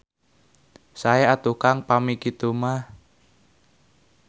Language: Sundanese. Sae atuh Kang pami kitu mah.